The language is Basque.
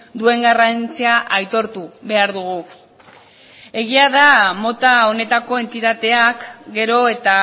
duen garrantzia aitortu behar dugu egia da mota honetako entitateak gero eta